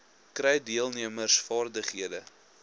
kry deelnemers vaardighede